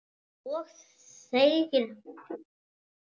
Og þegir.